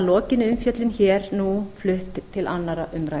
lokinni umfjöllun hér nú flutt til annarrar umræðu